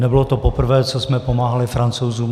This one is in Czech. Nebylo to poprvé, co jsme pomáhali Francouzům.